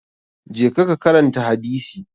Je ka karanta hadisi!